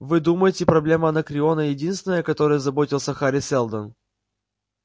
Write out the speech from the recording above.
вы думаете проблема анакреона единственная о которой заботился хари сэлдон